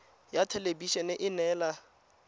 ya thelebi ene e neela